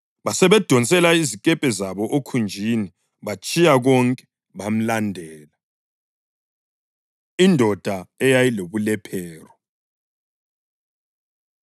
Basebedonsela izikepe zabo okhunjini batshiya konke bamlandela. Indoda Eyayilobulephero